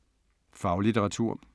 Faglitteratur